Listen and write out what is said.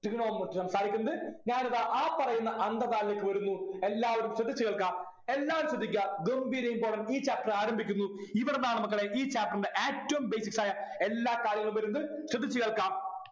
Trigonometry സംസാരിക്കുന്നത് ഞാനിതാ ആ പറയുന്ന അന്തർധാരയിലേക്ക് വരുന്നു എല്ലാവരും ശ്രദ്ധിച്ചു കേൾക്ക എല്ലാവരും ശ്രദ്ധിക്ക ഗംഭീര important ഈ Chapter ആരംഭിക്കുന്നു ഇവിടുന്നാണ് മക്കളെ ഈ Chapter ൻ്റെ ഏറ്റവും basics ആയ എല്ലാ കാര്യങ്ങളും വരുന്നത് ശ്രദ്ധിച്ചു കേൾക്കാം